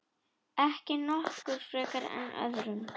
Ekki okkur frekar en öðrum.